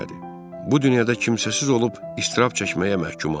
Bu dünyada kimsəsiz olub, iztirab çəkməyə məhkumam.